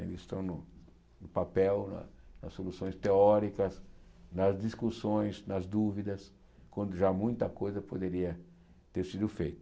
Ainda estão no no papel, nas soluções teóricas, nas discussões, nas dúvidas, quando já muita coisa poderia ter sido feita.